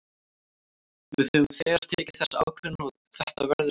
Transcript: Við höfum þegar tekið þessa ákvörðun og þetta verður gert.